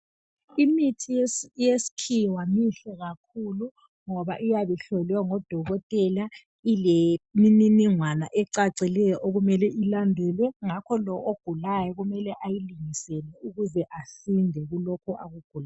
Imithi yesikhiwa mihle kakhulu ngoba iyabe ihlolwe ngodokotela ilemininingwana ecacileyo okumele ilandelwe ngakho lo ogulayo kumele ayilingisele ukuze aside kulokho akugulayo